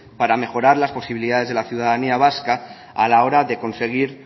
para mejorar las posibilidades de la ciudadanía vasca a la hora de conseguir